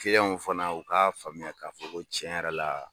Kiliyanw fana u k'a faamuya k'a fɔ ko cɛn yɛrɛ la